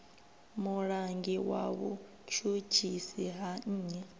mulangi wa vhutshutshisi ha nnyi